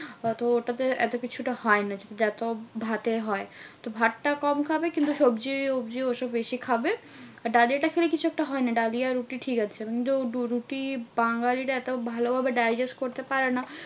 অথবা ওটাতে এত কিছুটা হয় না যত ভাতে হয়? ভাতটা কম খাবে কিন্তু সবজি অব্জি ওসব বেশি খাবে। আর ডালিয়াটা খেলে কিছু একটা হয় না। ডালিয়া, রুটি ঠিকাছে। কিন্তু রুটি বাঙালিরা এত ভালো ভাবে digest করতে পারে না।